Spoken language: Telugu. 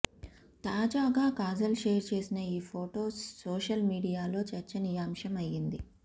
తాజాగా కాజల్ షేర్ చేసిన ఈ ఫొటో సోషల్ మీడియాలో చర్చనీయాంశం అయ్యింది